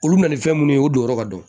Olu bɛna ni fɛn minnu ye o don yɔrɔ ka dɔgɔ